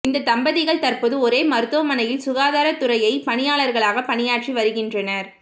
இந்த தம்பதிகள் தற்போது ஒரே மருத்துவமனையில் சுகாதாரத் துறையை பணியாளர்களாக பணியாற்றி வருகின்றனர்